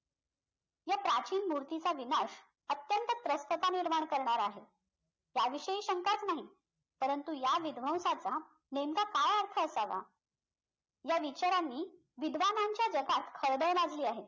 या प्राचीन मूर्तीचा विनाश अत्यंत त्रस्तता निर्माण करणारा आहे त्याविषयी शंकाच नाही परंतु या विद्वंशाचा नेमका काय अर्थ असावा या विचारांनी विद्वाज्ञांच्या जगात खळबळ माजली आहे